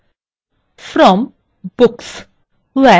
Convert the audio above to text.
from books